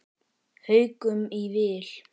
Haukum í vil.